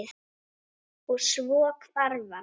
Og- svo hvarf hann.